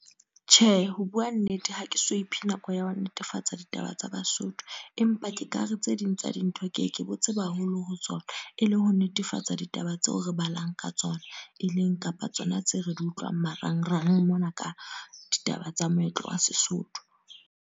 Tjhe, ho bua nnete. Ha ke so iphe nako ya ho netefatsa ditaba tsa Basotho. Empa ke kare tse ding tsa dintho ke ke bo tseba haholo ho tsona. E le ho netefatsa ditaba tseo re balang ka tsona. E leng kapa tsona tseo re di utlwang marangrang mona ka ditaba tsa moetlo wa Sesotho.